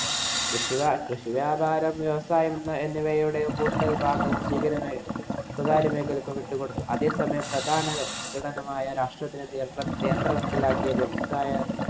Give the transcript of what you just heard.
കൃഷി വ~ കൃഷി വ്യാപാരം, വ്യവസായം എന്നിവയുടെ കൂടുതല്‍ ഭാഗവും സ്വകാര്യ മേഖലയ്ക്കു വിട്ടുകൊടുത്തു. അതേസമയം പ്രധാന കേന്ദ്രത്തിലാക്കിയത് വ്യവസായ